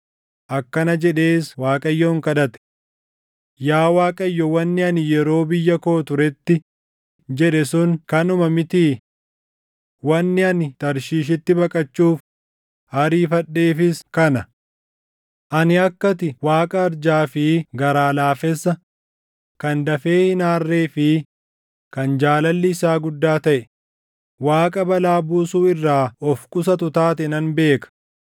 Akkana jedhees Waaqayyoon kadhate; “Yaa Waaqayyo wanni ani yeroo biyya koo turetti jedhe sun kanuma mitii? Wanni ani Tarshiishitti baqachuuf ariifadheefis kana. Ani akka ati Waaqa arjaa fi garaa laafessa, kan dafee hin aarree fi kan jaalalli isaa guddaa taʼe, Waaqa balaa buusuu irraa of qusatu taate nan beeka.